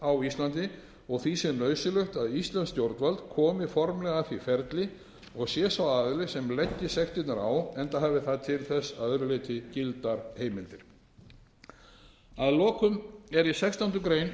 á íslandi og því sé nauðsynlegt að íslenskt stjórnvald komi formlega að því ferli og sé sá aðili sem leggi sektirnar á enda hafi það til þess að öðru leyti gildar heimildir að lokum eru í sextándu grein